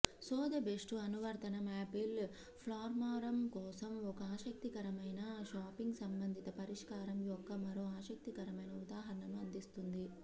సోథెబేస్లు అనువర్తనం Apple platform కోసం ఒక ఆసక్తికరమైన షాపింగ్ సంబంధిత పరిష్కారం యొక్క మరో ఆసక్తికరమైన ఉదాహరణను అందిస్తుంది